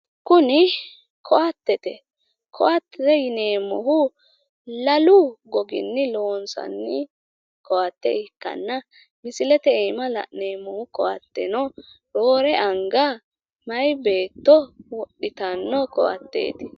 kuni koattete. Koatte yineemmohu lalu goginni loonsanni koatte ikkanna misilete aana la'neemmohu koatteno roore anga meyaa beetto wodhitanno koatteeti.